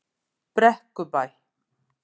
Brekkubæ